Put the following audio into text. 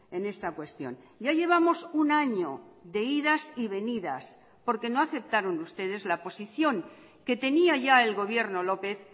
en esta cuestión ya llevamos un año de idas y venidas porque no aceptaron ustedes la posición que tenía ya el gobierno lópez